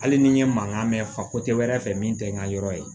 Hali ni n ye mankan mɛn fa wɛrɛ fɛ min tɛ n ka yɔrɔ ye